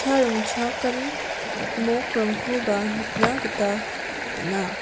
ringchakani mokrangkoba nikna gita man·a.